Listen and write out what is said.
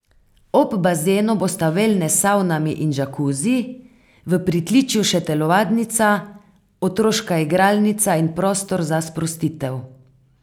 Ob bazenu bosta velnes s savnami in džakuzi, v pritličju še telovadnica, otroška igralnica in prostor za sprostitev.